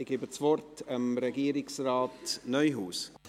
Ich gebe das Wort Regierungsrat Neuhaus.